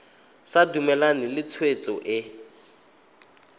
sa dumalane le tshwetso e